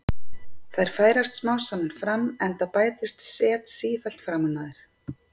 Þær færast smám saman fram enda bætist set sífellt framan á þær.